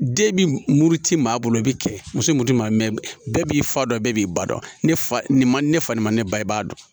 Den bi muru ti maa bolo i bi cɛ muso min ti maa min bɛɛ b'i fa dɔn bɛɛ b'i ba dɔn ne fa nin ma ne fa ma ne ba i b'a dɔn